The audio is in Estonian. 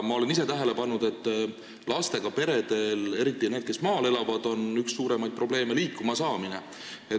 Ma olen ise tähele pannud, et lastega peredel, eriti nendel, kes maal elavad, on üks suuremaid probleeme liikumasaamine.